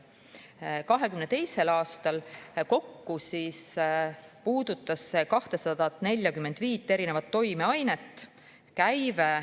2022. aastal puudutas see 245 toimeainet.